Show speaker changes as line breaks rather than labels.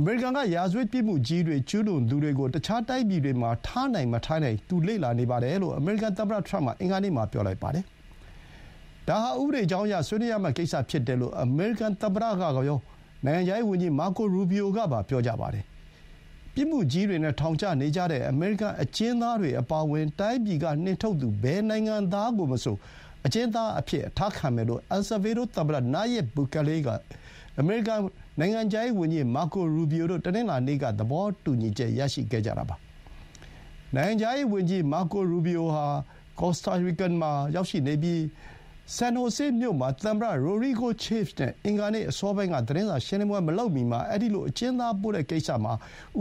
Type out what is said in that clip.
အမေရိကန်က ရာဇဝတ်မှုကြီးတွေ ကျူးလွန်သူတွေကို တခြားတိုင်းပြည်တွေမှာ ထားနိုင်မထားနိုင် သူ လေ့လာနေတယ်လို့ အမေရိကန်သမ္မတ ထရမ့်က အင်္ဂါနေ့မှာ ပြောလိုက်ပါတယ်။ ဒါဟာ ဥပဒေကြောင်းအရ ဆွေးနွေးရမယ့်ကိစ္စ ဖြစ်တယ်လို့ အမေရိကန်သမ္မတကရော၊ နိုင်ငံခြားရေးဝန်ကြီး Marco Rubio ကပါ ပြောကြပါတယ်။ ပြစ်မှုကြီးတွေနဲ့ ထောင်ကျနေကြတဲ့ အမေရိကန် အကျဥ်းသားတွေအပါအဝင် တိုင်းပြည်ကနှင်ထုတ်သူ ဘယ်နိုင်ငံသားကိုမဆို အကျဥ်းသားအဖြစ် အထားခံမယ်လို့ အယ်လ်ဆာဗေဒိုသမ္မတ Nayib Bukele နဲ့ အမေရိကန် နိုင်ငံခြားရေး ဝန်ကြီး Marco Rubio တို့ တနင်္လာနေ့က သဘောတူညီချက် ရရှိခဲ့ကြတာပါ။ နိုင်ငံခြားရေးဝန်ကြီး မာကို ရူဘီအိုဟာ ကော်စတာရီကန်မှာ ရောက်ရှိနေပြီး San Jose မြို့မှာ သမ္မတ Rodrigo Chaves နဲ့ အင်္ဂါနေ့ အစောပိုင်းက သတင်းစာရှင်းလင်းပွဲမလုပ်မီ အဲဒီလို အကျဥ်းသားပို့တဲ့ကိစ္စမှာ